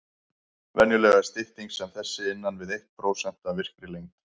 Venjulega er stytting sem þessi innan við eitt prósent af virkri lengd.